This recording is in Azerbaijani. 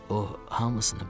O hamısını bilir.